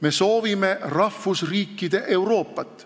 Me soovime rahvusriikide Euroopat.